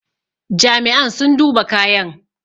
Jami'an sun duba kayan